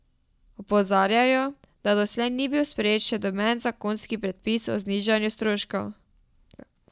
Opozarjajo, da doslej ni bil sprejet še noben zakonski predpis o znižanju stroškov.